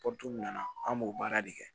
nana an b'o baara de kɛ